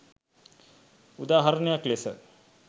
උදා හරණයක් ලෙස